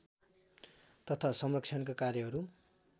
तथा संरक्षणका कार्यहरू